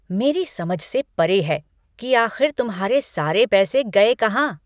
मेरी समझ से परे है कि आख़िर तुम्हारे सारे पैसे गए कहां?